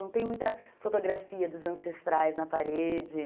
Não tem muita fotografia dos ancestrais na parede.